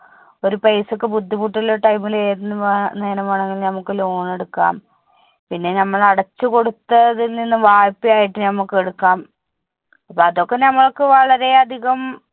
ഒരു paisa ക്ക് ബുദ്ധിമുട്ടുള്ള time ല് ഏത് നേരം വേണമെങ്കിലും നമ്മുക്ക് loan എടുക്കാം പിന്നെ ഞമ്മൾ അടച്ചു കൊടുത്തതിൽനിന്നും വായിപ്പയായിട്ട് ഞമ്മുക്ക് എടുക്കാം അപ്പൊ അതൊക്കെ ഞമ്മൾക്ക് വളരെയധികം